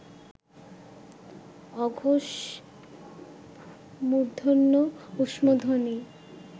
অঘোষ মূর্ধন্য ঊষ্মধ্বনি